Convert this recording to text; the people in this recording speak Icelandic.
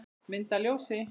Mynd að ljósi?